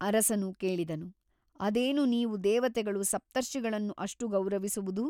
ಅರಸನು ಕೇಳಿದನು ಅದೇನು ನೀವು ದೇವತೆಗಳು ಸಪ್ತರ್ಷಿಗಳನ್ನು ಅಷ್ಟು ಗೌರವಿಸುವುದು?